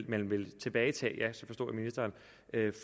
man vil tilbagetage